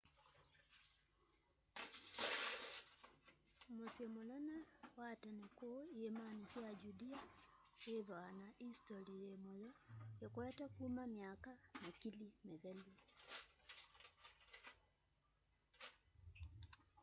musyi munene wa tene kuu iîmani sya judea withwa na istoli yi muyo ikwete kuma myaka makili mithelu